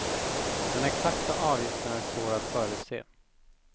Den exakta avgiften är svår att förutse.